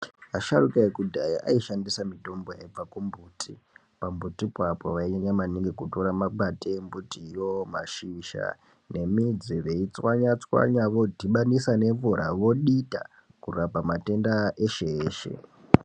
Asharuka eku dhaya ayi shandisa mitombo yaibva ku mbuti pa mbuti ipapo vai nyanya maningi kutora makwande embuti yoo mashizha ne midzi vei tswanya tswanya vo dhibanisa ne mvura vo dita kurapa matenda eshe eshe.